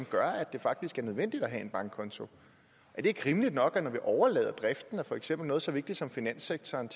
gør at det faktisk er nødvendigt at have en bankkonto er det ikke rimeligt nok at vi når vi overlader driften af for eksempel noget så vigtigt som finanssektoren